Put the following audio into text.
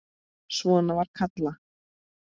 Svona var Kalla.